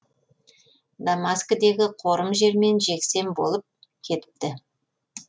дамаскідегі қорым жермен жексен болып кетіпті